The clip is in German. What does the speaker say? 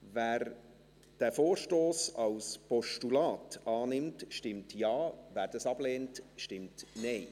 Wer diesen Vorstoss als Postulat annimmt, stimmt Ja, wer dies ablehnt, stimmt Nein.